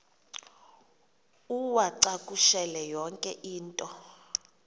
uwacakushele yonke into